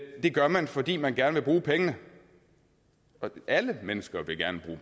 gør man fordi man gerne vil bruge pengene alle mennesker vil gerne